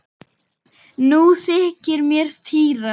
Nú þykir mér týra!